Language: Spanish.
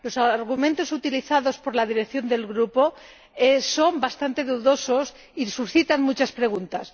Los argumentos utilizados por la dirección del grupo son bastante dudosos y suscitan muchas preguntas.